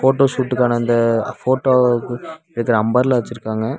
Photo ஷூட்டுக்கான அந்த போட்டோக்கு எடுக்குற அம்ரெல்லா வெச்சிருக்காங்க.